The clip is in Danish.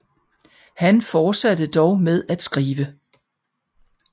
Han fortsatte dog med at skrive